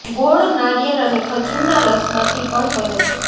ગોળ નારિયેળ અને ખજૂરના રસમાંથી પણ બને છે